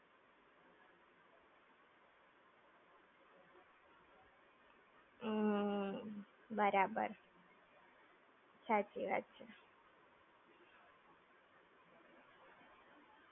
ના, એ જ જોવા બેઠો છું હવે. બધાને હજીતો પેહલા ready થાય તો કઈંક થાય! એમનેમ હું જોઈને શું કરું? જો તઈં ની શાંકુશ જે wonderland છે બરાબર.